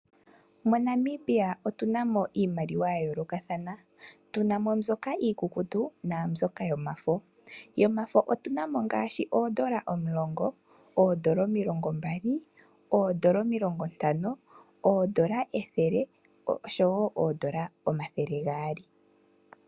MoNamibia otu na mo iimaliwa ya yoolokathana. Tu na mo mbyoka iikukutu naambyoka yomafo. Yomafo otu na mo ngaashi oodola omulonga, oodola omilongombali, oodola omilongontano, oodola ethele oshowo oodola omathele gaali.